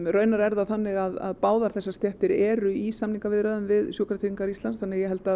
raunar er það þannig að báðar þessar stéttir eru í samningaviðræðum við Sjúkratryggingar Íslands þannig að ég held að